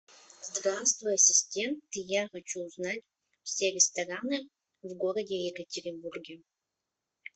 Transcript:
здравствуй ассистент я хочу узнать все рестораны в городе екатеринбурге